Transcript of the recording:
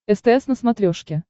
стс на смотрешке